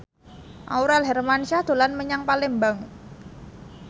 Aurel Hermansyah dolan menyang Palembang